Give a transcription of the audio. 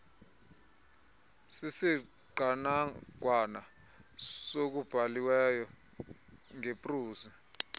sisiqanaqwana sokubhaliweyo ngeprozi